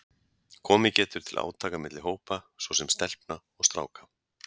Komið getur til átaka milli hópa, svo sem stelpna og stráka.